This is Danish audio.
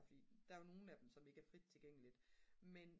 fordi der er jo nogen af dem som ikke er frit tilgængeligt men